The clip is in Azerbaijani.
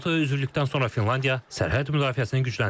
NATO-ya üzvlükdən sonra Finlandiya sərhəd müdafiəsini gücləndirib.